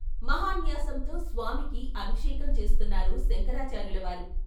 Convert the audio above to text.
మహాన్యాసంతో స్వామికి అభిషేకం చేస్తున్నారు శంకరాచార్యులవారు.